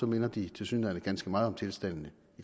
minder de tilsyneladende ganske meget om tilstandene